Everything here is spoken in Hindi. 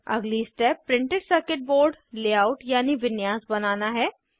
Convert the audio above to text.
अगली step printed circuit board layout यानी विन्यास बनाना है